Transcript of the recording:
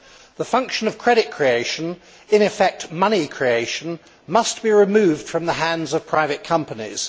The function of credit creation in effect, money creation must be removed from the hands of private companies.